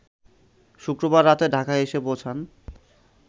শুক্রবার রাতে ঢাকায় এসে পৌঁছান